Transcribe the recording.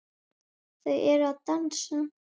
Þau eru að dansa